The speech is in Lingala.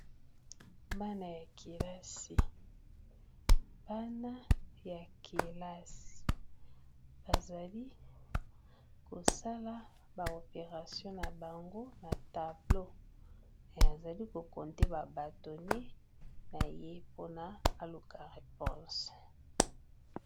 Bana ya kelasi bana ya kelasi bazali kosala ba operation na bango na tableau azali ko compté ba bâtonnet naye mpona aluka reponse.